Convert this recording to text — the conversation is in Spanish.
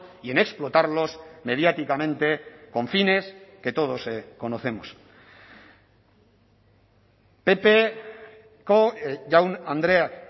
y en explotarlos mediáticamente con fines que todos conocemos ppko jaun andreak